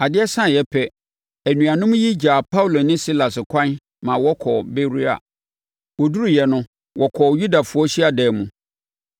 Adeɛ saeɛ ara pɛ, anuanom yi gyaa Paulo ne Silas ɛkwan ma wɔkɔɔ Beroia. Wɔduruiɛ no, wɔkɔɔ Yudafoɔ hyiadan mu.